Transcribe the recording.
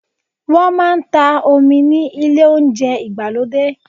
Wọ́n máa ń ta omi ni ilé Ohunjẹ́ ìgbàlódé